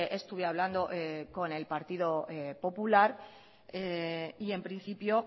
estuve hablando con el partido popular y en principio